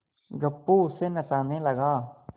गप्पू उसे नचाने लगा